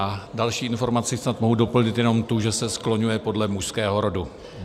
A další informaci snad mohu doplnit jenom tu, že se skloňuje podle mužského rodu.